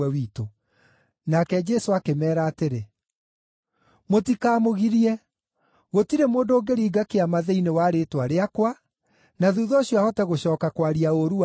Nake Jesũ akĩmeera atĩrĩ, “Mũtikamũgirie! Gũtirĩ mũndũ ũngĩringa kĩama thĩinĩ wa rĩĩtwa rĩakwa na thuutha ũcio ahote gũcooka kwaria ũũru wakwa,